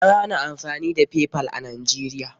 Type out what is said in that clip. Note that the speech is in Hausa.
An hana amfani da Paypal a Najeriya.